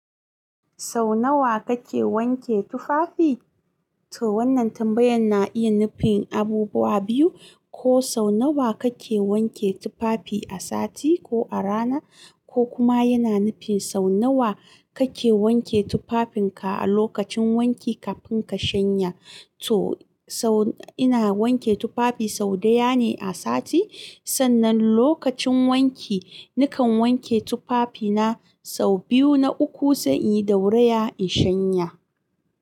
Sau nawa kake wanke tufafi? To wannan tambayan na iya nufin abubuwa biyu, ko sau nawa kake wanke tufafi a sati ko a rana, ko kuma yana nufin sau nawa kake wanke tufafinka a lokacin wanki kafin ka shanya. To sau ina wanke tufafi sau daya ne a sati, sannan lokacin wanki nakan wanke tufafi na sau biyu na uku se in yi dauraya in shanya.